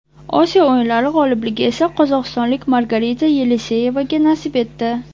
Osiyo o‘yinlari g‘olibligi esa qozog‘istonlik Margarita Yeleseyevaga nasib etdi.